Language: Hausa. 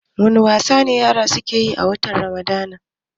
wani wasa yara suke yi a watan ramadan?